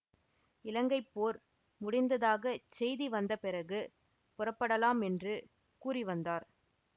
இலங்கை போர் முடிந்ததாகச் செய்தி வந்த பிறகு புறப்படலாம் என்று கூறி வந்தார்